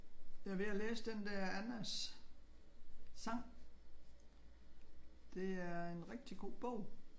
Jeg er ved at læse den der Annas sang. Det er en rigtig god bog